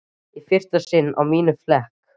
Í fyrsta sinn á mínum flekk